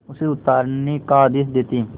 उसे उतारने का आदेश देते